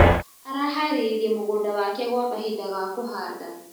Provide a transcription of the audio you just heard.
Araharĩirie mũgũnda wake gwa kahinda ga kũhanda.